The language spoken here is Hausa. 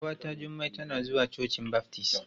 Ƙawata Jummai tana zuwa cocin baftis.